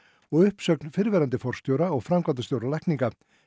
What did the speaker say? og uppsögn fyrrverandi forstjóra og framkvæmdastjóra lækninga